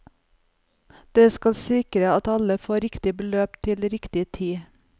Det skal sikre at alle får riktig beløp til riktig tid.